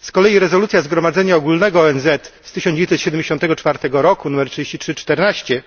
Z kolei rezolucja Zgromadzenia Ogólnego ONZ z 1974 roku nr 3314,